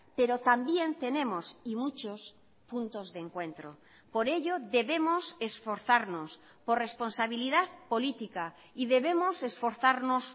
pero también tenemos y muchos puntos de encuentro por ello debemos esforzarnos por responsabilidad política y debemos esforzarnos